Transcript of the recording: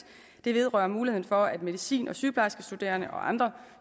vedrører muligheden for at medicin og sygeplejerskestuderende og andre